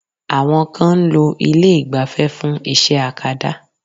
Àwọn kan ń lo ilé ìgbafẹ́ fún iṣẹ́ akada.